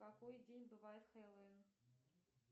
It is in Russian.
в какой день бывает хэллоуин